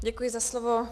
Děkuji za slovo.